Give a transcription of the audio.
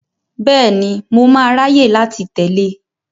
Bẹ́ẹ̀ni, mo máa ráyè láti tẹ̀lé e.